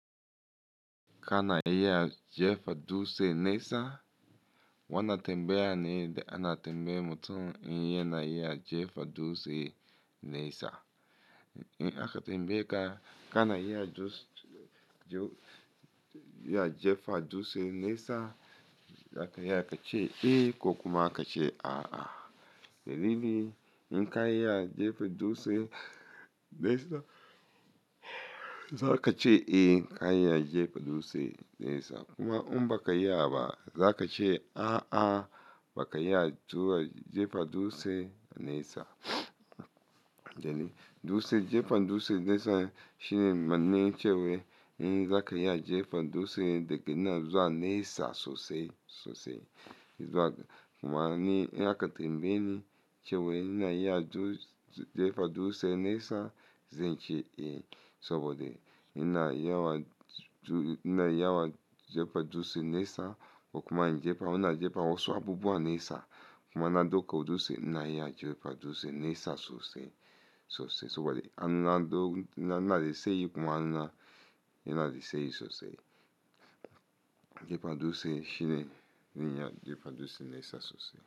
Ka na iya jefa dutse nesa? Wani tambaya ne da ana tambaya mutum in yana iya jefa dutse nesa. In aka tambaye ka kana iya jefa dutse nesa, za ka iya kace eh ko kuma ka ce a a. Dalili, in ka iya jefa dutse nesa, za ka ce eh ka iya jefa dutse nesa. Kuma in ba ka iya ba, za ka ce a a ba ka iya jefa dutse nesa. Dutse, jefa dutse nesa shine manne ce wai in za ka iya jefa dutse da kina zuwa nesa sosai sosai. Kuma in aka tambaye ni ce wai ina iya jefa dutse nesa, zan ce eh saboda ina iya jefa dutse nesa. Ko kuma in jefa, in na jefa wasu abubuwa nesa. Kuma ina ɗauka dutse ina iya jefa dutse nesa sosai sosai saboda ina daise yi kuma ina daise yi sosai. Jefa dutse shine ina iya jefa dutse nesa sosai.